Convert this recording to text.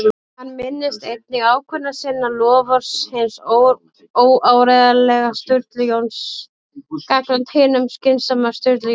Hann minnist einnig ákvörðunar sinnar- loforðs hins óáreiðanlega Sturlu Jóns gagnvart hinum skynsama Sturlu Jóni